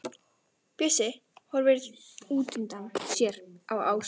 Bjössi horfir útundan sér á Ásu.